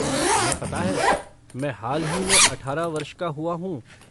तुम्हें पता है, मैं हाल ही में 18 वर्ष का हुआ हूँ?